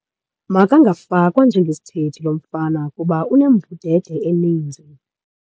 Makangafakwa njengesithethi lo mfana kuba unembudede eninzi.